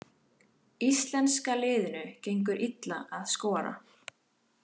Íslenska liðinu gengur illa að skora